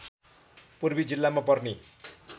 पूर्वी जिल्लामा पर्ने